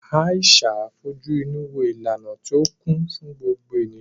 Aisha fojú inú wo ìlànà tí ó kún fún gbogbo ènìyàn.